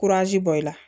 bɔ i la